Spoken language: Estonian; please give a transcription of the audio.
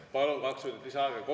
Palun, kaks minutit lisaaega!